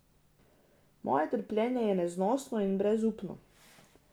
Moje trpljenje je neznosno in brezupno.